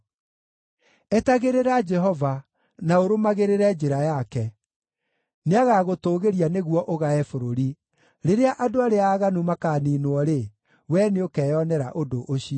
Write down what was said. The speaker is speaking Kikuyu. Etagĩrĩra Jehova na ũrũmagĩrĩre njĩra yake. Nĩagagũtũũgĩria nĩguo ũgae bũrũri; rĩrĩa andũ arĩa aaganu makaaniinwo-rĩ, wee nĩũkeyonera ũndũ ũcio.